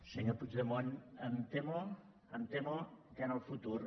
senyor puigdemont em temo que en el futur